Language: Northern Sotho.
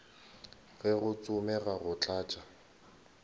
ge go tsomega go tlatša